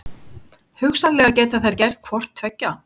Hugsanlega geta þær gert hvort tveggja.